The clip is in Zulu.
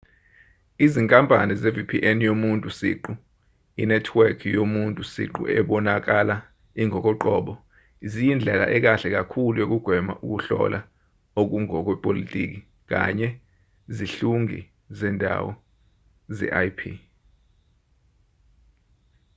izinkampani ze-vpn yomuntu siqu inethiweki yomuntu siqu ebonakala ingokoqobo ziyindlela ekahle kakhulu yokugwema ukuhlola okungokwepolotiki kanye zihlungi zendawo ze-ip